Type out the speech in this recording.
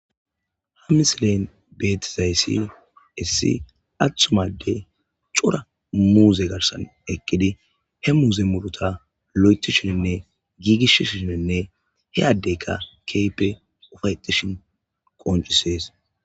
ha misilen beetizayssil issi aththuma adey cora muuze garsan eqqidi he muuze muruta lo7etishininne giigish shininne he adeyka keype ufayetishin qooncisees